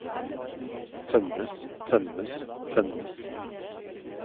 tømmes tømmes tømmes